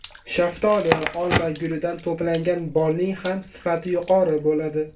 Shaftoli, olma gulidan to‘plangan bolning ham sifati yuqori bo‘ladi.